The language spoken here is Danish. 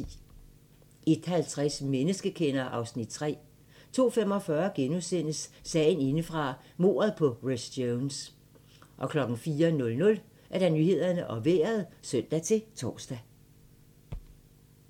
01:50: Menneskekender (Afs. 3) 02:45: Sagen indefra - mordet på Rhys Jones * 04:00: Nyhederne og Vejret (søn-tor)